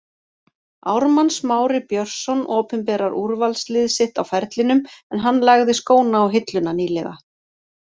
Ármann Smári Björnsson opinberar úrvalslið sitt á ferlinum en hann lagði skóna á hilluna nýlega.